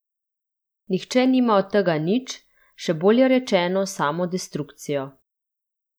Nihče nima od tega nič, še bolje rečeno samo destrukcijo.